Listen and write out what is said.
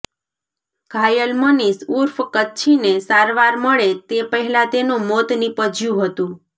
ઘાયલ મનિષ ઉર્ફ કચ્છીને સારવાર મળે તે પહેલા તેનું મોત નિપજ્યું હતું